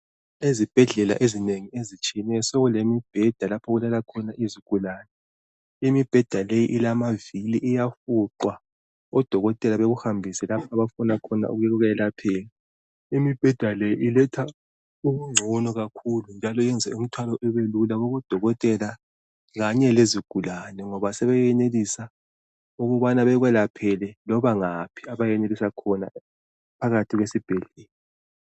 Ezibhedlela ezinengi ezitshiyeneyo sokulembheda lapho okulala khona izigulane .Imibheda leyi ilamavili iyafuqwa .Odokotela bekuhambise lapho abafuna khona ukukwelaphela .Imibheda le iletha ubungcono kakhulu njalo yenza umthwalo ubelula kubodokotela kanye lezigulane .Ngoba sebeyenelisa ukubana bekwelaphele loba ngaphi abayenelisa khona phakathi kwesibhedlela .